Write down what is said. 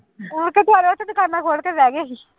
ਮੁੜਕੇ ਫਿਰ ਉੱਥੇ ਦੁਕਾਨਾਂ ਖੋਲ ਕੇ ਬਹਿ ਗਏ ਸੀ।